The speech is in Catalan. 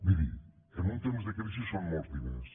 miri en un temps de crisi són molts diners